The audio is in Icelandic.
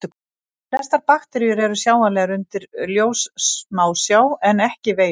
Flestar bakteríur eru sjáanlegar undir ljóssmásjá en ekki veirur.